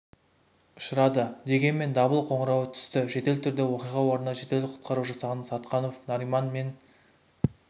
ұшырады деген дабыл қоңырауы түсті жедел түрде оқиға орнына жедел құтқару жасағынан сатқанов нариман мен